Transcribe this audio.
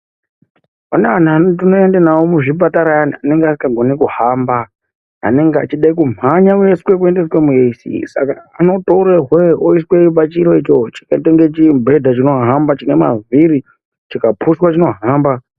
Kune antu atinoenda nawo muzvipatara ayani anenge asingagoni kuhamba anenge achida kumhanyiswa kuendeswa muac Saka anotorwa piswa pachiro icho chakaita chimubhedha chinohamba chine mavhiri chikapushwa chinohamba.